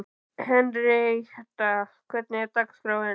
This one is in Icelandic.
Henrietta, hvernig er dagskráin?